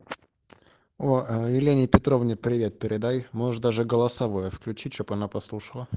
о елене петровне привет передай можешь даже голосовое включить чтобы она послушала